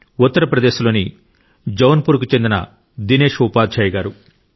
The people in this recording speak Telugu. ఉత్తరప్రదేశ్ లోని జౌన్పూర్కు చెందిన దినేష్ ఉపాధ్యాయ గారు